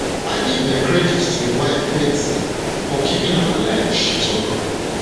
i give um credit to im wife betsy for keeping am alive she um tok